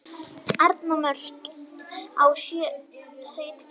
Eyrnamörk á sauðfé.